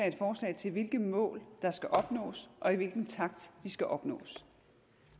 et forslag til hvilke mål der skal opnås og i hvilken takt de skal opnås